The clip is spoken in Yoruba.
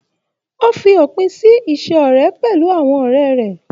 O fí òpin sí ise ọrẹ pẹlú àwọn ọrẹ rẹ.